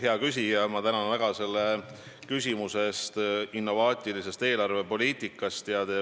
Hea küsija, ma tänan väga selle küsimuse eest innovaatilise eelarvepoliitika kohta.